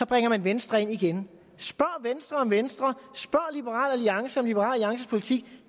bringer venstre ind igen spørg venstre om venstre spørg liberal alliance om liberal alliances politik